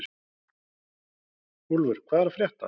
Úlfur, hvað er að frétta?